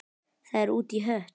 Það er út í hött.